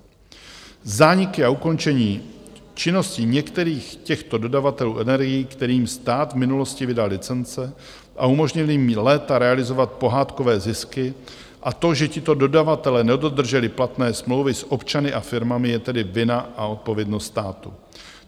Zániky a ukončení činnosti některých těchto dodavatelů energií, kterým stát v minulosti vydal licence a umožnil jim léta realizovat pohádkové zisky, a to, že tito dodavatelé nedodrželi platné smlouvy s občany a firmami je tedy vina a odpovědnost státu.